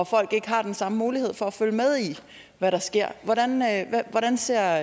folk ikke har den samme mulighed for at følge med i hvad der sker hvordan ser